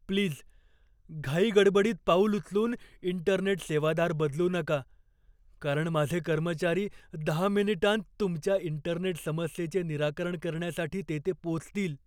Please घाईगडबडीत पाऊल उचलून इंटरनेट सेवादार बदलू नका, कारण माझे कर्मचारी दहा मिनिटांत तुमच्या इंटरनेट समस्येचे निराकरण करण्यासाठी तेथे पोचतील.